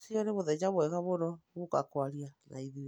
Rũciũ nĩ mũthenya mwega mũno gũũka kwaria na ithuĩ.